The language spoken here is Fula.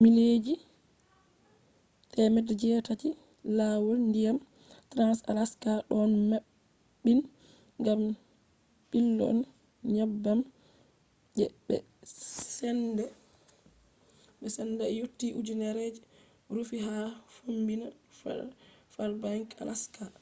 mileji 800 je lawol ndiyam trans-alaska ɗon maɓɓin gam ɓilonde nyebbam je ɓe sendai yotti ujunere je rufi ha fombina fairbanks alaska